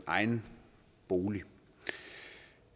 egen bolig